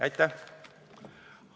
Aitäh!